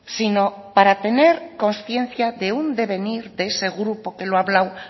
sino para tener consciencia de un devenir de ese grupo que lo ha hablado